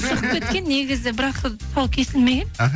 шығып кеткен негізі бірақ тұсауы кесілмеген іхі